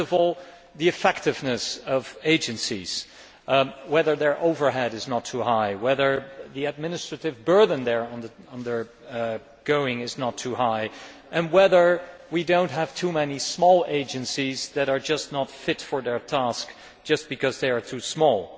First of all, the effectiveness of agencies whether their overheads are not too high, whether the administrative burden they are undergoing is not too high and whether we do not have too many small agencies that are just not fit for their task simply because they are too small.